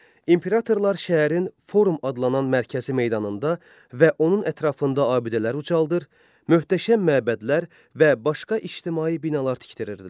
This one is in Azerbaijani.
İmperatorlar şəhərin forum adlanan mərkəzi meydanında və onun ətrafında abidələr ucaldır, möhtəşəm məbədlər və başqa ictimai binalar tikdirirdilər.